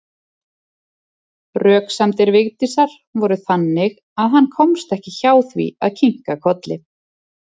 Röksemdir Vigdísar voru þannig að hann komst ekki hjá því að kinka kolli.